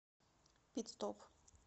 пит стоп